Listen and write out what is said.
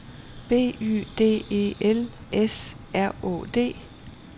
B Y D E L S R Å D